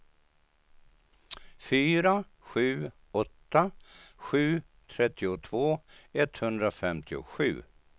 fyra sju åtta sju trettiotvå etthundrafemtiosju